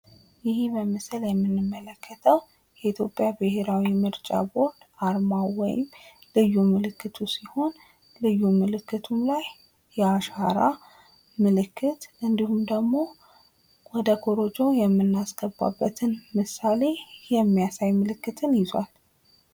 ይህ በምስሉ ላይ የምንመለክተው የኢትዮጵያ ምርጫ ቦርድ አርማው ወይም ልዩ ምልክቱ ሲሆን ከልዩ ምልክቱም ላይ የአሻራ ምልክት እንዲሁም ደግሞ ወደ ኮሮጆ የምናስገባብትን ምስል ምሳሌ ይዟል።